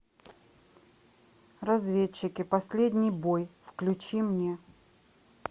разведчики последний бой включи мне